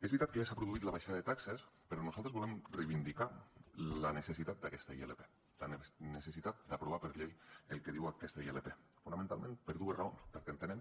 és veritat que s’ha produït la baixada de taxes però nosaltres volem reivindicar la necessitat d’aquesta ilp la necessitat d’aprovar per llei el que diu aquesta ilp fonamentalment per dues raons perquè entenem